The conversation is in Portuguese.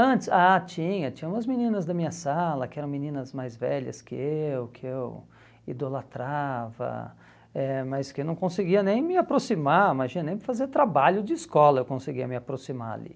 antes, Ah, tinha, tinha umas meninas da minha sala que eram meninas mais velhas que eu, que eu idolatrava, eh mas que eu não conseguia nem me aproximar, imagina, nem fazer trabalho de escola eu conseguia me aproximar ali.